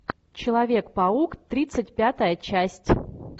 человек паук тридцать пятая часть